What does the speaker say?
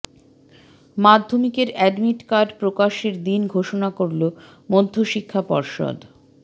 মাধ্যমিকের admit card প্রকাশের দিন ঘোষণা করল মধ্যশিক্ষা পর্ষদ